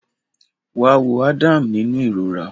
Wá wo Adam nínú ìrora